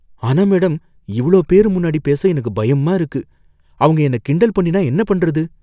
ஆனா மேடம், இவ்ளோ பேரு முன்னாடி பேச எனக்கு பயமா இருக்கு. அவங்க என்ன கிண்டல் பண்ணினா என்ன பண்றது?